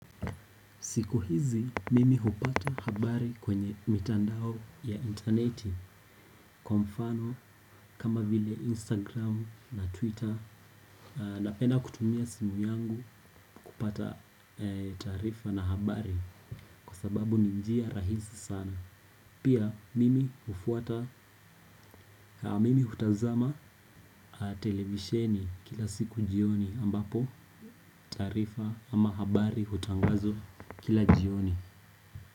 Siku hizi mimi hupata habari kwenye mitandao ya intaneti kwa mfano kama vile Instagram na Twitter napenda kutumia simu yangu kupata taarifa na habari kwa sababu ni njia rahisi sana. Pia mimi hufuata mimi hutazama televisheni kila siku jioni ambapo taarifa ama habari hutangazwa kila jioni.